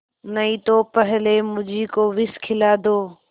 नहीं तो पहले मुझी को विष खिला दो